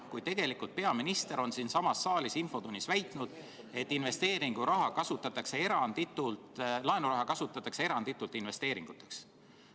Seda enam, kui peaminister on tegelikult siinsamas saalis infotunnis väitnud, et laenuraha kasutatakse eranditult investeeringuteks.